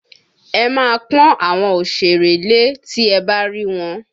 Ẹ máa pọn àwọn òsèré lé tí ẹ bá rí wọn!